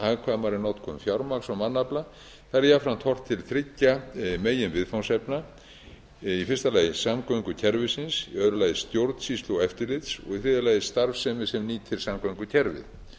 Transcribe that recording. hagkvæmari notkun fjármagns og mannafla þar er jafnframt horft til þriggja meginviðfangsefna samgöngukerfisins stjórnsýslu og eftirlits og starfsemi sem nýtir samgöngukerfið